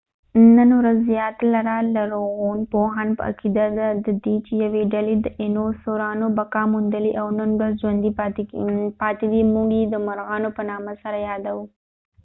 نن ورځ زیاتره لرغونپوهان په عقیده دي چې یوې ډلې د داینوسورانو بقا موندلې او نن ورځ ژوندي پاتې دي موږ یې د مرغانو په نامه سره یادوو